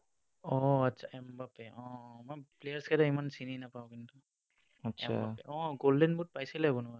অ, আচ্ছা, এমবাপে। অ, মই players কেইটা ইমান চিনি নাপাও কিন্তু। অ golden boot পাইছিলে কোনোবাই।